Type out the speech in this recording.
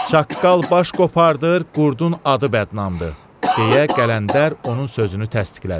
Çaqqal baş qopardır, qurdun adı bədnamdır, deyə Qələndər onun sözünü təsdiqlədi.